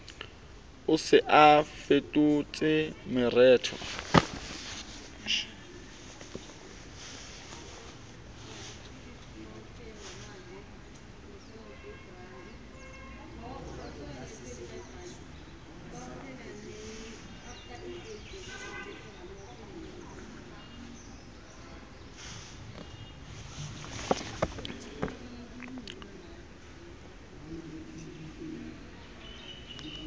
o se a fetotse mereto